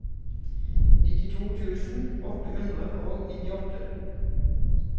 nittito tusen åtte hundre og nittiåtte